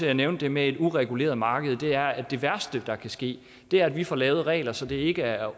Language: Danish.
jeg nævnte det med et ureguleret marked er at det værste der kan ske er at vi får lavet regler så det ikke er